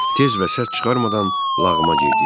Tez və səs çıxarmadan lağıma girdik.